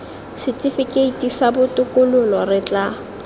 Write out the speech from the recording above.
setifikeiti sa botokololo re tla